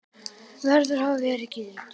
verður að hafa verið gildur.